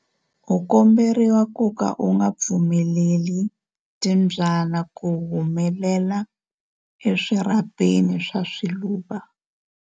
U komberiwa ku ka u nga pfumeleli timbyana ku humela eswirhapeni swa swiluva.